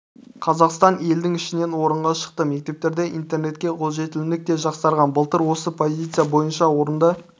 қазақстан елдің ішінен орынға шықты мектептерде интернетке қолжетімділік те жақсарған былтыр осы позиция бойынша орында